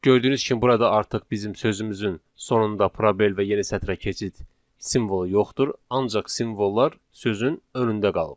Gördüyünüz kimi burada artıq bizim sözümüzün sonunda probel və yeni sətrə keçid simvolu yoxdur, ancaq simvollar sözün önündə qalıb.